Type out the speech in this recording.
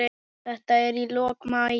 Þetta er í lok maí.